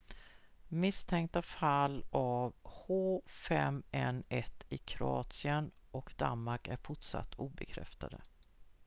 misstänkta fall av h5n1 i kroatien och danmark är fortsatt obekräftade